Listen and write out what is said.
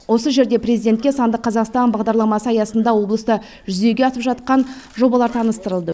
осы жерде президентке сандық қазақстан бағдарламасы аясында облыста жүзеге асып жатқан жобалар таныстырылды